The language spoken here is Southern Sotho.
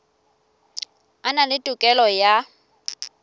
a na le tokelo ya